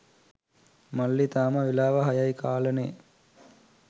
මල්ලි තාම වෙලාව හයයි කාලනේ